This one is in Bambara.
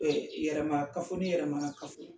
yɛrɛma kafo ni yɛrɛmana kafo.